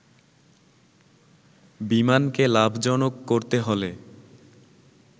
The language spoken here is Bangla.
বিমানকে লাভজনক করতে হলে